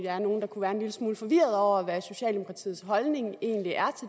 er nogle der kunne være en lille smule forvirrede over hvad socialdemokratiets holdning egentlig er